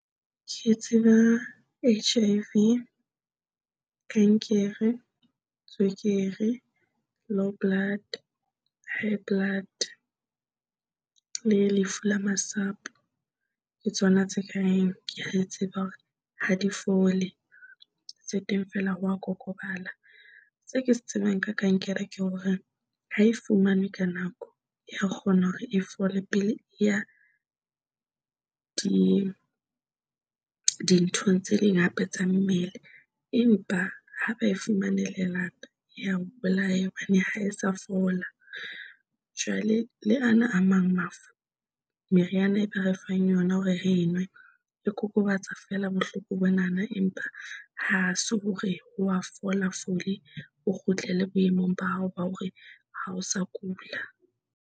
Ke tseba H_I_V, Kankere, Tswekere, Low Blood, High Blood le Lefu la Masapo ke tsona tse ka reng ke a tseba hore ha di fole. Se teng feela wa kokobala. Se o ke se tsebang ka kankere ke hore ha e fumanwe ka nako ya kgona hore e fole pele e ya di nthong tse ding hape tsa mmele. Empa ha ba e fumane lelapa ya bolaya hobane ha e sa fola jwale le ana a mang mafu, meriana e be re fang yona hore e nwe e kokobetsa feela bohloko bonana, empa ha se hore wa fola fole. O kgutlele boemong ba hao ba hore ha o sa kula.